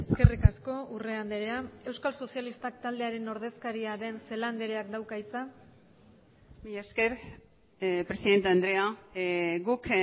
eskerrik asko urrea andrea euskal sozialistak taldearen ordezkaria den celaá andreak dauka hitza mila esker presidente andrea guk